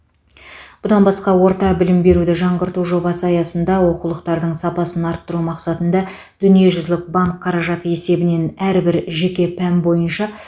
бұдан басқа орта білім беруді жаңғырту жобасы аясында оқулықтардың сапасын арттыру мақсатында дүниежүзілік банк қаражаты есебінен әрбір жеке пән бойынша